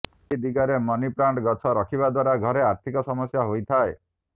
ଏହି ଦିଗରେ ମନିପ୍ଲାଣ୍ଟ ଗଛ ରଖିବା ଦ୍ବାରା ଘରେ ଆର୍ଥିକ ସମସ୍ୟା ହୋଇଥାଏ